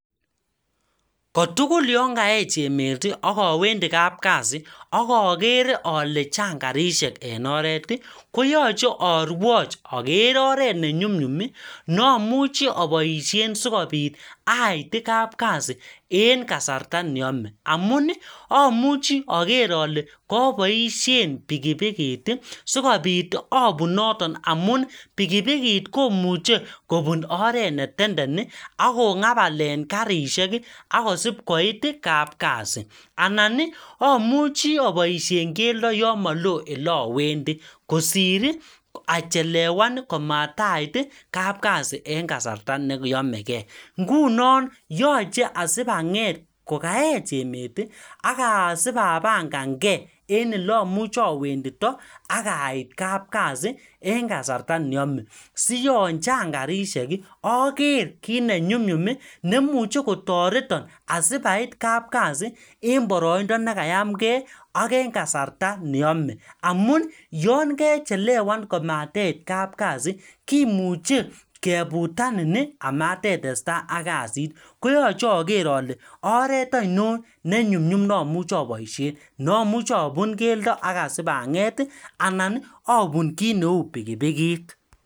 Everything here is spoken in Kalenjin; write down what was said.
Ko tugul yon kaech emet, ak awendi kapkasi ak agere ale chang karishek en oret, koyache arwoch ager oret ne nyumnyum, ne amuchi aboisien sikobit ait kapkasi en kasarta neyome. Amun amuchi ager ale kaboisien pikipikit, sikobit abun noton amun pikipikit komuche kobun oret ne tenden ako ngabal en karishek, akosipkoit kapkasi. Anan, amuchi aboisien keldo yo molo ele awendi. Kosir achelewan komatait kapkasi en kasarta ne yomekey. Ngunon yoche asipanget kokaech emet, aka sipapangankey en ole amuchi awendito akait kapkasi en kasarta neyome. Siyon chang karishek, aker kiy ne nyumnyum nemuchi kotoreton, asipait kapkasi en boroindo nekayamkey, ak en kasarta neyome. Amun yon kechelewan komateit kapkasi, kimuchi keputanin, amatitestai ak kasit. Koyache ager ale oret ainon ne nyumnyum ne amuchi aboisie. Ne amuch abun keldo, aga sipanget, anan abun kiy neu pikipikit.